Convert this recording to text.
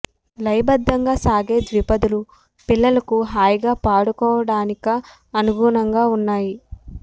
లయ బద్దంగా సాగే ద్విపదలు పిల్లలకు హాయిగా పాడుకొవడానిక అను గుణంగా ఉన్నాయి